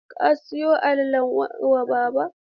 Ka siyo alalan wa baba?